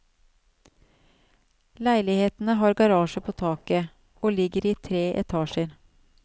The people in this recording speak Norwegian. Leilighetene har garasje på taket, og ligger i tre etasjer.